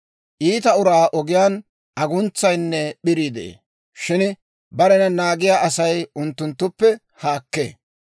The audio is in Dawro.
Iita uraa ogiyaan aguntsayinne p'irii de'ee; shin barena naagiyaa Asay unttunttuppe haakkee.